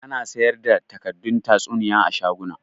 Ana sayar da takaddun tatsuniya a shaguna